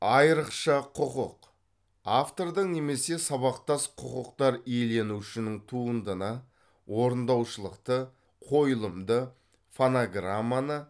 айрықша құқық автордың немесе сабақтас құқықтар иеленушінің туындыны орындаушылықты қойылымды фонограмманы